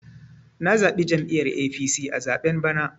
Na zaɓi jam'iyyar APC a zaɓen bana.